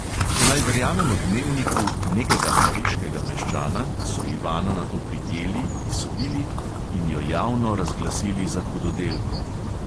Če naj verjamemo dnevniku "nekega pariškega meščana", so ivano nato prijeli, ji sodili in jo javno razglasili za hudodelko.